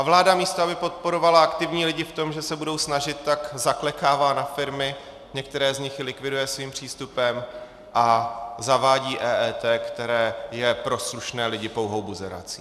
A vláda místo aby podporovala aktivní lidi v tom, že se budou snažit, tak zaklekává na firmy, některé z nich i likviduje svým přístupem, a zavádí EET, které je pro slušné lidi pouhou buzerací.